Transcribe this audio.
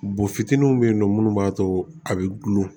Bo fitininw be yen nɔ munnu b'a to a be gulo